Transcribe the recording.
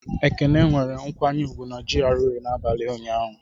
Ekene nwere nkwanye ùgwù na GRA n'abalị ụnyaahụ.